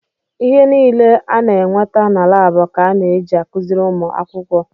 Ihe niile a na-enweta na laabụ ka a na-eji akụziri ụmụ akwụkwọ.